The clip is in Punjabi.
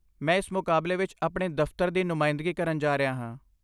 ਮੈਂ ਇਸ ਮੁਕਾਬਲੇ ਵਿੱਚ ਆਪਣੇ ਦਫ਼ਤਰ ਦੀ ਨੁਮਾਇੰਦਗੀ ਕਰਨ ਜਾ ਰਿਹਾ ਹਾਂ।